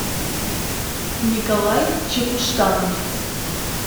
николай чепуштанов